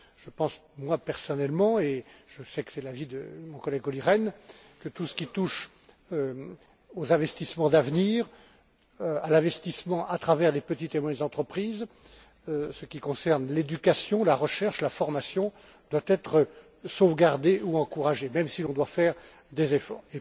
Je pense, moi personnellement, et je sais que c'est l'avis de mon collègue Olli Rehn, que tout ce qui touche aux investissements d'avenir, à l'investissement à travers les petites et moyennes entreprises en ce qui concerne l'éducation, la recherche, la formation, doit être sauvegardé ou encouragé même si l'on doit faire des efforts.